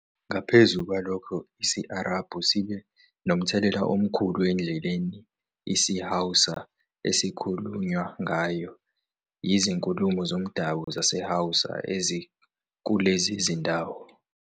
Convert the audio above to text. Ngaphezu kwalokho, isi-Arabhu sibe nomthelela omkhulu endleleni isiHausa esikhulunywa ngayo yizikhulumi zomdabu zaseHausa ezikulezi zindawo.